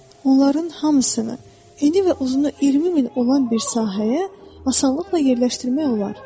Onların hamısını eni və uzunu 20 min olan bir sahəyə asanlıqla yerləşdirmək olar.